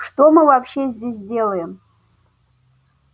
что мы вообще здесь делаем